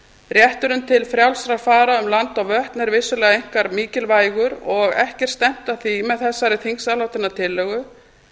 rétturinn til frjálsrar farar um land og vötn er vissulega einkar mikilvægur og ekki er stefnt að því með þessari þingsályktunartillögu